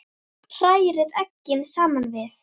Hrærið eggin saman við.